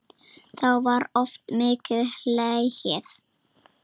Þá var oft mikið hlegið.